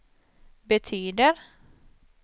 betyder